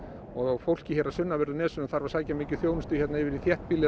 og fólkið á sunnanverðu nesinu þarf að sækja mikið þjónustu yfir í þéttbýlið